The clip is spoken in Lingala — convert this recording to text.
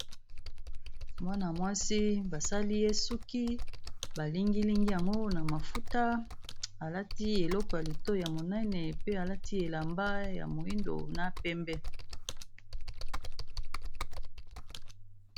Wana mwasi basali yesuki balingilingi yango na mafuta alati eloko ya leto ya monene pe alati elamba ya moindo, na pembe.